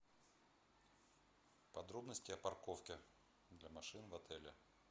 подробности о парковке для машин в отеле